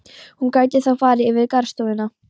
Hún gæti þá farið yfir í garðstofuna.